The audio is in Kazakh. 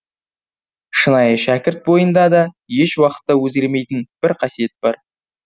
шынайы шәкірт бойында да еш уақытта өзгермейтін бір қасиет бар